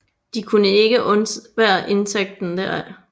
De kunne ikke undvære indtægten deraf